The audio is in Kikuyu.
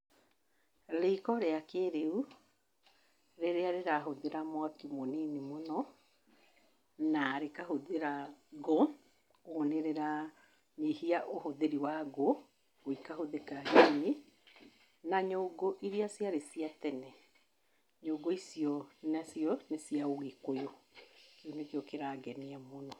Riko rĩa kĩrĩu rĩrĩa rĩhũthĩra mwaki mũnini mũno na rĩkahũthĩra ngũ, kwoguo nĩrĩranyihia ũhũthĩri wa ngũ kwoguo ikahũthĩka nyinyi na nyũngũ iria ciarĩ cia tene, nyũngũ icio nacio nicia ũgĩkũyũ, kĩu nĩkĩo kĩrangenia mũno.